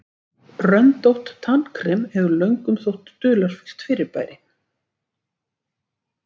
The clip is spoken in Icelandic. Röndótt tannkrem hefur löngum þótt dularfullt fyrirbæri.